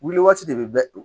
Wuli waati de bɛ bɛɛ